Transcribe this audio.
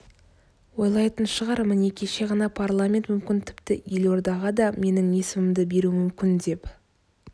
ойлайтын шығар міне кеше ғана парламент мүмкін тіпті елордаға да менің есімімді беруі мүмкін деп